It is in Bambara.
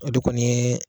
O de kɔni ye